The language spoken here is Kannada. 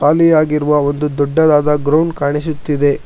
ಖಾಲಿಯಾಗಿರುವ ಒಂದು ದೊಡ್ಡದಾದ ಗ್ರೌಂಡ್ ಕಾಣಿಸುತ್ತಿದೆ.